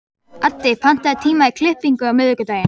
Addi, pantaðu tíma í klippingu á miðvikudaginn.